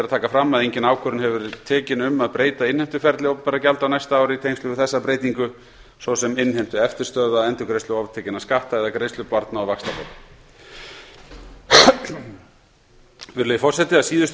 taka fram að engin ákvörðun hefur verið tekin um að breyta innheimtuferli opinberra gjalda á næsta ári í tengslum við þessa breytingu svo sem innheimtu eftirstöðva endurgreiðslu oftekinna skatta eða greiðslu barna og vaxtabóta virðulegur forseti að síðustu